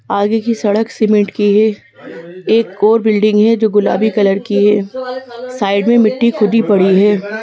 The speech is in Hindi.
आगे की सड़क सीमेंट की है एक ओर बिल्डिंग है जो गुलाबी कलर की है साइड में मिट्टी खुद ही पड़ी है।